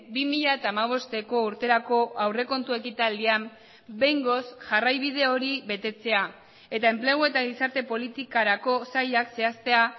bi mila hamabosteko urterako aurrekontu ekitaldian behingoz jarraibide hori betetzea eta enplegu eta gizarte politikarako sailak zehaztea